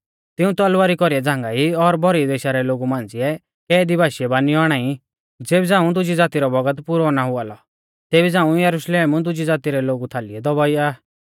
तिऊं तलवारी कौरीऐ झ़ांगाई और भौरी देशा रै लोगु मांझ़िऐ कैदी बाशी बानियौ आणाई ज़ेबी झ़ांऊ दुजी ज़ाती रौ बौगत पुरौ ना हुआ लौ तेबी झ़ांऊ यरुशलेम दुजी ज़ाती रै लोगु थालीऐ दबाउआ ई